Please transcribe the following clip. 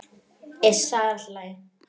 Iss, það er allt í lagi.